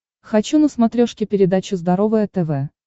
хочу на смотрешке передачу здоровое тв